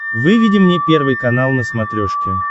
выведи мне первый канал на смотрешке